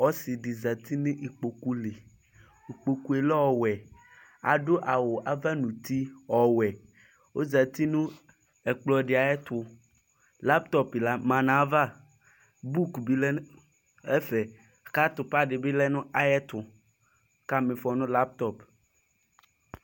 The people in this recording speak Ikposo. Ɔsɩ ɖɩ zati nʋ iƙpoƙu liIƙpoƙu ƴɛ lɛ ɔwɛ; aɖʋ awʋ ava nʋ uti ɔwɛOzati nʋ ɛƙplɔ ɖɩ aƴʋ ɛtʋLaptɔp ma nʋ ayʋ ava, buk bɩ lɛ nʋ ɛfɛ; ƙʋ atʋpa ɖɩ bɩ lɛ nʋ aƴʋ ɛtʋƆƙa ma ɩfɔ nʋ laptɔp